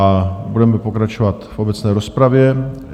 A budeme pokračovat v obecné rozpravě.